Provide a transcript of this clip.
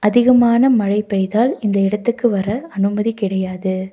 அதிகமான மழை பெய்தால் இந்த இடத்துக்கு வர அனுமதி கிடையாது.